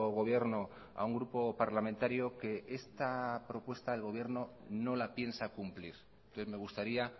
gobierno a un grupo parlamentario que esta propuesta el gobierno no la piensa cumplir entonces me gustaría